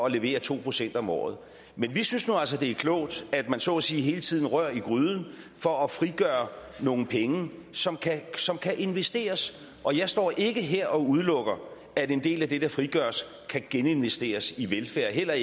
at levere to procent om året men vi synes nu altså det er klogt at man så at sige hele tiden rører i gryden for at frigøre nogle penge som som kan investeres og jeg står ikke her og udelukker at en del af det der frigøres kan geninvesteres i velfærd